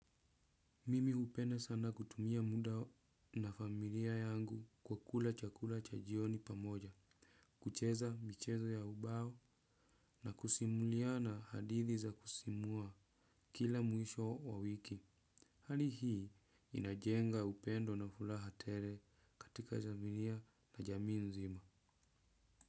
Mimi hupenda sana kutumia muda na familia yangu kwa kula chakula cha jioni pamoja, kucheza michezo ya ubao na kusimuliana hadithi za kusisimua kila mwisho wa wiki. Hali hii inajenga upendo na furaha tele katika familia na jamii nzima.